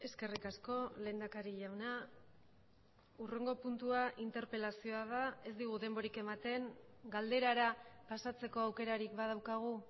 eskerrik asko lehendakari jauna hurrengo puntua interpelazioa da ez digu denborik ematen galderara pasatzeko aukerarik badaukagu